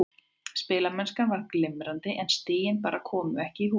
Spilamennskan var glimrandi en stigin bara komu ekki í hús.